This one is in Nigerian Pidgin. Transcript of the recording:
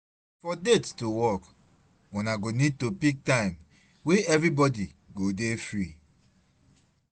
For date to work, una go need to pick time wey everybody go dey free